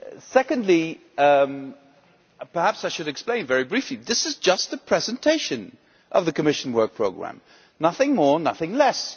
Secondly, perhaps I should explain very briefly, this is just a presentation of the Commission Work Programme nothing more nothing less.